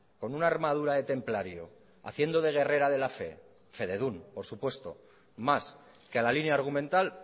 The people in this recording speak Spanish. con una armadura de templario haciendo de guerrera de la fe fededun por supuesto más que a la línea argumental